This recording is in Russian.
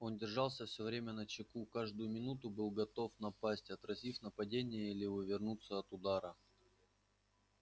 он держался всё время начеку каждую минуту был готов напасть отразив нападение или увернуться от удара